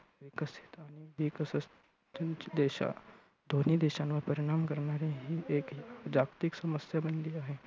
देशां, दोन्ही देशांवर परीणाम करणारी ही एक जागतिक समस्या बनली आहे.